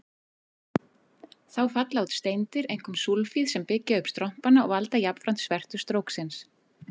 Þá falla út steindir, einkum súlfíð, sem byggja upp strompana og valda jafnframt svertu stróksins.